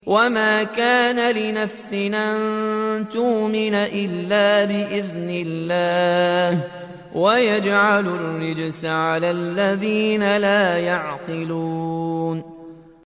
وَمَا كَانَ لِنَفْسٍ أَن تُؤْمِنَ إِلَّا بِإِذْنِ اللَّهِ ۚ وَيَجْعَلُ الرِّجْسَ عَلَى الَّذِينَ لَا يَعْقِلُونَ